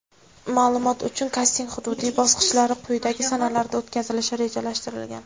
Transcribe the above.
Ma’lumot uchun: kasting hududiy bosqichlari quyidagi sanalarda o‘tkazilishi rejalashtirilgan:.